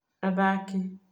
athaki